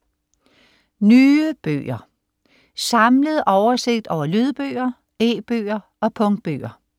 Nye bøger: Samlet oversigt over lydbøger, e-bøger og punktbøger